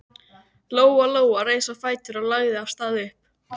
Lóa Lóa reis á fætur og lagði af stað upp.